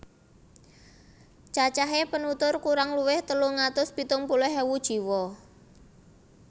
Cacahé penutur kurang luwih telung atus pitung puluh ewu jiwa